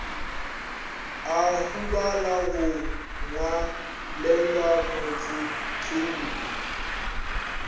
a hubala go ngwalelwa mohlahlobi